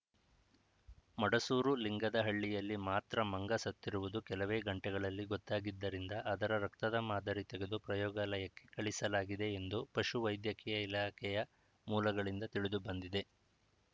ಮಡಸೂರು ಲಿಂಗದಹಳ್ಳಿಯಲ್ಲಿ ಮಾತ್ರ ಮಂಗ ಸತ್ತಿರುವುದು ಕೆಲವೇ ಗಂಟೆಗಳಲ್ಲಿ ಗೊತ್ತಾಗಿದ್ದರಿಂದ ಅದರ ರಕ್ತದ ಮಾದರಿ ತೆಗೆದು ಪ್ರಯೋಗಾಲಯಕ್ಕೆ ಕಳಿಸಲಾಗಿದೆ ಎಂದು ಪಶುವೈದ್ಯಕೀಯ ಇಲಾಖೆಯ ಮೂಲಗಳಿಂದ ತಿಳಿದುಬಂದಿದೆ